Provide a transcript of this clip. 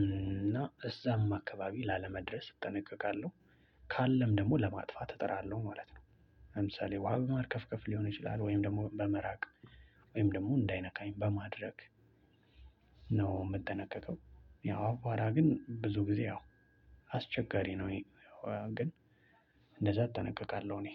እና እዛም አካባቢ ላለመድረስ እጠነቀቃለሁ። ካለም ደግሞ ለማጥፋት እጠራለሁ ማለት ነው። ለምሳሌ ውሃ በማርከፍከፍ ሊሆን ይችላል ወይም ደግሞ በመራቅ ወይም ደግሞ እንዳይነካኝ በማድረግ ነው የምትጠነቀቀው? ያው አባራ ግን ብዙ ጊዜ አዎ አስቸጋሪ ነው። ግን እንደዛ እጠነቀቃለሁ እኔ።